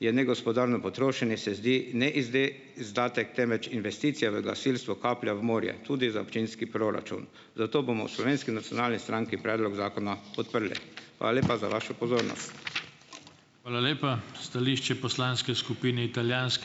je negospodarno potrošenje, se zdi izdatek, temveč investicija v gasilstvo kaplja v morje. Tudi za občinski proračun. Zato bomo v Slovenski nacionalni stranki predlog zakona podprli . Hvala lepa za vašo pozornost . Hvala lepa. Stališče poslanske skupine ...